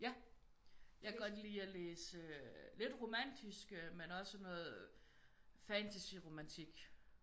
Ja jeg kan godt lide at læse lidt romantisk men også sådan noget fantasy-romantik